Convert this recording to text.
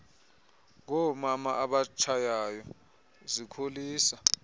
ngoomama abatshayayo zikholisa